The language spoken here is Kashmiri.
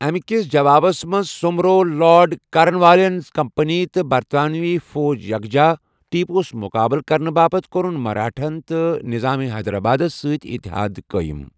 امہِ كِس جوابس منٛز سو٘مبروو لارڈ کارن والین کمپنی تہٕ برطانوی فوج یخجا ، ٹیپوہس مُقابلہٕ كرنہٕ باپتھ کوٚرُن مرٲٹھاہن تہٕ نظام حیدرآبادس سۭتۍ اتحاد قٲیِم ۔